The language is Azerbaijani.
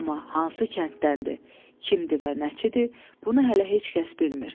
Amma hansı kənddəndir, kimdir və nəçidir, bunu hələ heç kəs bilmir.